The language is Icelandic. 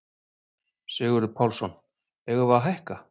Sigurður Pálsson: Eigum við að hækka?